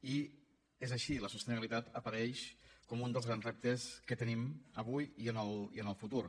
i és així la sostenibilitat apareix com un dels grans reptes que tenim avui i en el futur